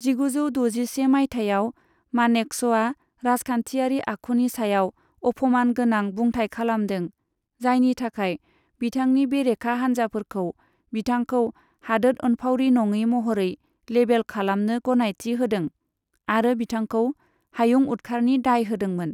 जिगुजौ द'जिसे मायथाइयाव, मानेकश'आ राजखान्थियारि आखुनि सायाव अफमान गोनां बुंथाइ खालामदों, जायनि थाखाय बिथांनि बेरेखा हान्जाफोरखौ बिथांखौ हादोद अनफावरि नङि महरै लेबेल खालामनो गनायथि होदों, आरो बिथांखौ हायुं उदखारनि दाय होदोंमोन।